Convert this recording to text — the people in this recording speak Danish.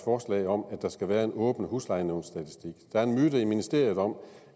forslag om at der skal være en åben huslejenævnsstatistik der er en myte i ministeriet om